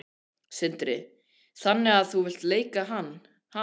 Sindri: Þannig að þú vilt leika hana?